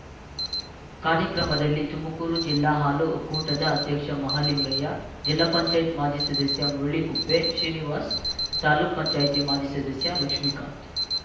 ಕಾರ್ಯಕ್ರಮದಲ್ಲಿ ತುಮಕೂರು ಜಿಲ್ಲಾ ಹಾಲು ಒಕ್ಕೂಟದ ಅಧ್ಯಕ್ಷ ಮಹಲಿಂಗಯ್ಯ ಜಿಲ್ಲಾ ಪಂಚಾಯತ್ ಮಾಜಿ ಸದಸ್ಯ ಮುರಳಿಕುಪ್ಪೆ ಶ್ರೀನಿವಾಸ್ ತಾಲೂಕ್ ಪಂಚಾಯತಿ ಮಾಜಿ ಸದಸ್ಯ ಲಕ್ಷ್ಮೀಕಾಂತ್